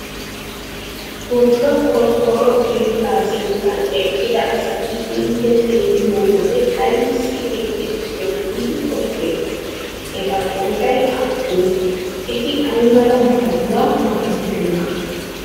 Wogga qorqqoro keettaa sinttan eqqida asati intte xeelliyo wode aybissi eqqidosona giidi qoppeetii? Eta qooday aappunee? Eti ay mala maayuwa maayidonaa?